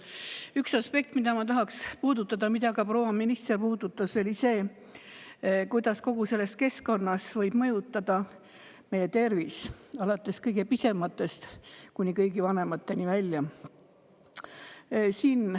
Aga üks aspekt, mida ma tahaks puudutada ja mida ka proua minister puudutas, on see, kuidas kogu see keskkond võib mõjutada meie tervist, kõige pisematest kuni kõige vanemateni välja.